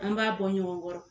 An b'a bɔ ɲɔgɔn kɔrɔ